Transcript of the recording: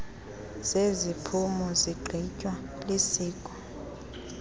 zeziphumo zigqitywa lisiko